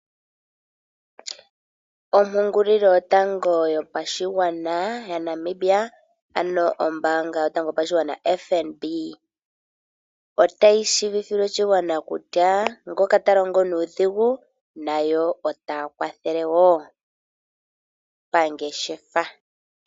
Ompungulilo yotango yopashigwana ya Namibia, otayi tseyithile oshigwana kutya ngoka ta longo nuudhigu, nayo otaya kwathele woo pangeshefa.